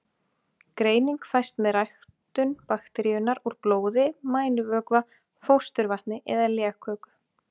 Greining fæst með ræktun bakteríunnar úr blóði, mænuvökva, fósturvatni eða legköku.